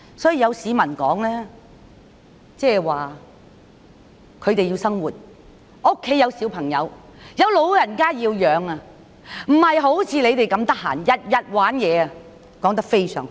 有市民說他們要生活，家中有小孩和老人家要供養，不像示威人士那麼空閒，每天在玩鬧，我覺得說得非常好。